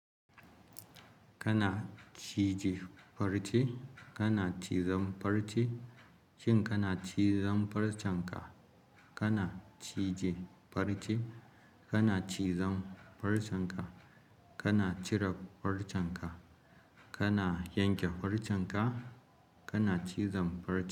Kana cije farce, kana cizon farce, shin kana cizon farcenka? Kana cije farce, kana cizon farcenka, kana cire farcenka, kana yanke farcenka, kana cizon farce.